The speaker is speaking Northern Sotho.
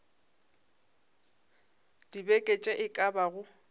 dibeke tše e ka bago